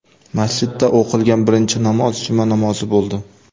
Masjidda o‘qilgan birinchi namoz juma namozi bo‘ldi.